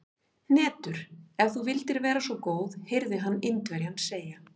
Hnetur, ef þú vildir vera svo góð heyrði hann Indverjann segja.